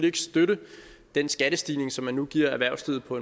ikke støtte den skattestigning som man nu giver erhvervslivet på